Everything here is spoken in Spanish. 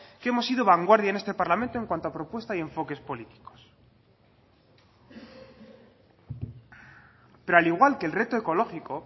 que hemos sido vanguardia en este parlamento en cuanto a propuesta y enfoques políticos pero al igual que el reto ecológico